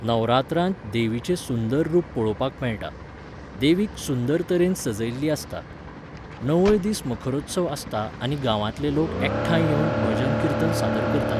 नवरात्रांत देवीचें सुंदर रुप पळोवपाक मेळटा. देवीक सुंदर तरेन सजयल्ली आसता. णवय दीस मखरोत्सव आसता आनी गांवांतले लोक एकठांय येवन भजन किर्तन सादर करतात